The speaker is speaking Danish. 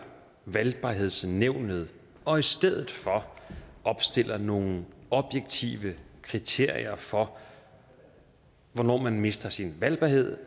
valgbarhedsnævnet og i stedet for opstiller nogle objektive kriterier for hvornår man mister sin valgbarhed